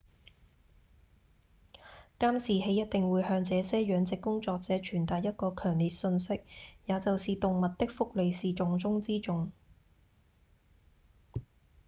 「監視器一定會向這些養殖工作者傳達一個強烈訊息也就是動物的福利是重中之重」